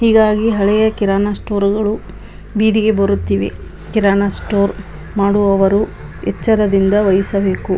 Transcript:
ಹೀಗಾಗಿ ಹಳೆಯ ಕಿರಾಣಿ ಸ್ಟೋರ್ ಗಳು ಬೀದಿಗೆ ಬರುತ್ತಿವೆ. ಕಿರಾಣ ಸ್ಟೋರ್ ಮಾಡುವವರು ಎಚ್ಚರದಿಂದ ವಹಿಸಬೇಕು.